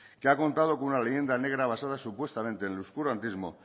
que ha contado con una leyenda negra basada supuestamente en el oscurantismo